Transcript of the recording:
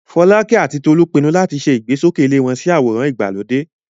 Folake àti Tolu pinnu láti ṣe ìgbésókè ilé wọn sí àwòrán ìgbàlódé.